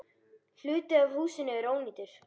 Hluti af húsinu er ónýtur.